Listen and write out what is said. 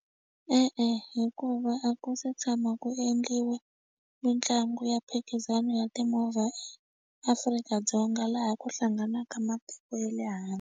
E-e, hikuva a ku se tshama ku endliwa mitlangu ya mphikizano ya timovha eAfrika-Dzonga laha ku hlanganaka matiko ye le handle.